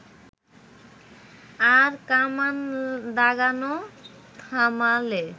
আর কামান দাগানো থামালে